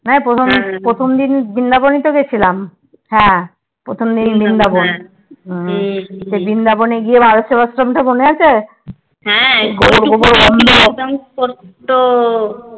প্রথম দিন বৃন্দাবনই তো গেসিলাম হ্যা প্রথম দিন বৃন্দাবন বৃন্দাবন গিয়ে ভারত সেবাশ্রমের কথা মনে আছে